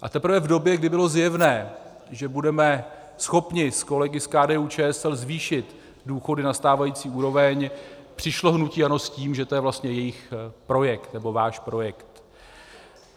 A teprve v době, kdy bylo zjevné, že budeme schopni s kolegy z KDU-ČSL zvýšit důchody na stávající úroveň, přišlo hnutí ANO s tím, že je to vlastně jejich projekt, nebo váš projekt.